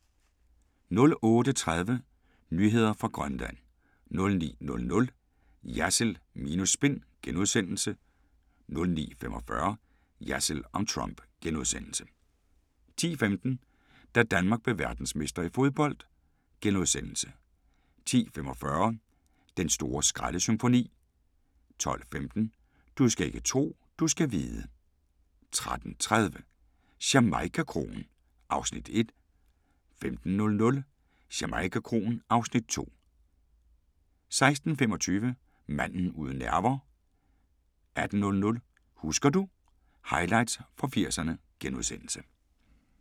08:30: Nyheder fra Grønland 09:00: Jersild minus spin * 09:45: Jersild om Trump * 10:15: Da Danmark blev verdensmestre i fodbold * 10:45: Den store skraldesymfoni 12:15: Du skal ikke tro, du skal vide 13:30: Jamaica-kroen (Afs. 1) 15:00: Jamaica-kroen (Afs. 2) 16:25: Manden uden nerver 18:00: Husker du ... Highlights fra 80'erne *